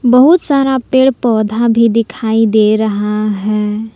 बहुत सारा पेड़ पौधा भी दिखाई दे रहा है।